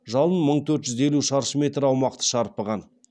жалын мың төрт жүз елу шаршы метр аумақты шарпыған